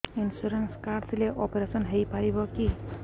insurance card ଥିଲେ operation ହେଇପାରିବ କି